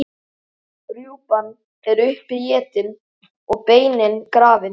Rjúpan er uppétin og beinin grafin.